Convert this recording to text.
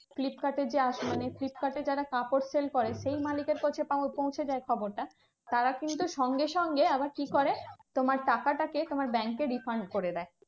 ফ্লিপকার্ডের যে মানে ফ্লিপকার্ডে যারা কাপড় sell করে সেই মালিকের কাছে পৌঁছে যায় খবরটা। তারা কিন্তু সঙ্গে সঙ্গে আবার কি করে? তোমার টাকাটাকে তোমার ব্যাংকে refund করে দেয়।